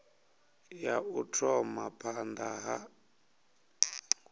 ya u thoma phanda ha